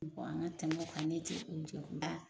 U ko an ka tɛmɛ o kan ne tɛ